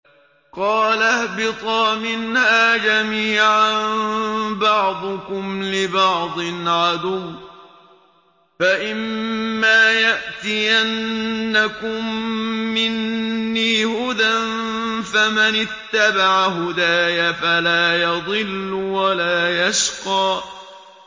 قَالَ اهْبِطَا مِنْهَا جَمِيعًا ۖ بَعْضُكُمْ لِبَعْضٍ عَدُوٌّ ۖ فَإِمَّا يَأْتِيَنَّكُم مِّنِّي هُدًى فَمَنِ اتَّبَعَ هُدَايَ فَلَا يَضِلُّ وَلَا يَشْقَىٰ